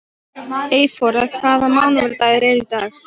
Eyþóra, hvaða mánaðardagur er í dag?